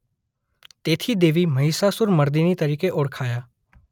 તેથી દેવી મહિષાસુર મર્દિની તરીકે ઓળખાયા.